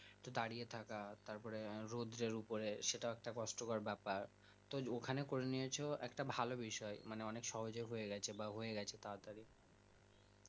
তো দাঁড়িয়ে থাকা তাপরে রোদ্রের উপরে সেটাও একটা কষ্টকর ব্যাপার তো ওখানে করে নিয়াছ একটা ভালো বিষয় মানে অনেক সহজে হয়ে গিয়েছে বা হয়েগেছে তাড়াতাড়ি